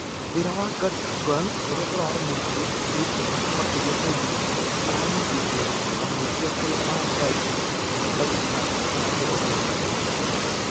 Wĩra wa gundogan ũrĩa ũrarĩ mũritũ ũkĩritũha makĩria hĩndĩ aranyitetwo na mahĩtia kũrĩ mathai dagĩka ya mĩrongo ĩtatũ na inya.